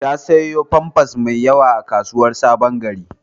Ta sayo famfas mai yawa a kasuwar Sabon-gari.